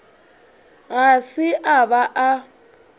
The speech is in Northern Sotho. ga se a ba a